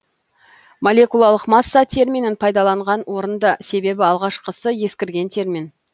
молекулалық масса терминін пайдаланған орынды себебі алғашқысы ескірген термин